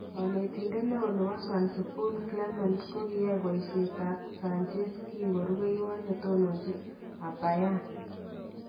Kanetindet neon nebo Swansea Paul Clement kokiyai boisiet ak Sanches kinko rubeiwot netononjin ab Bayern